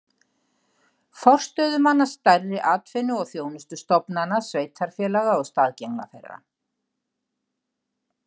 Forstöðumanna stærri atvinnu- og þjónustustofnana sveitarfélaga og staðgengla þeirra.